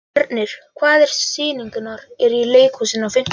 Fjörnir, hvaða sýningar eru í leikhúsinu á fimmtudaginn?